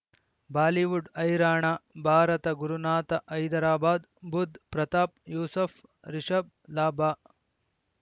Bollywood ಹೈರಾಣ ಭಾರತ ಗುರುನಾಥ ಹೈದರಾಬಾದ್ ಬುಧ್ ಪ್ರತಾಪ್ ಯೂಸುಫ್ ರಿಷಬ್ ಲಾಭ